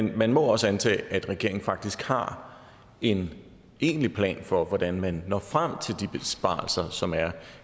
det man må også antage at regeringen faktisk har en egentlig plan for hvordan man når frem til de besparelser som er